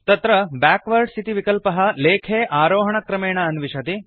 तत्र बैकवार्ड्स् इति विकल्पः लेखे आरोहणक्रमेण अन्विषति